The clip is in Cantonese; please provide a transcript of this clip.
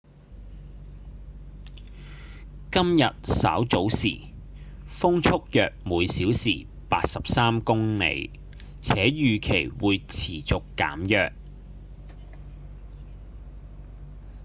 今日稍早時風速約每小時83公里且預期會持續減弱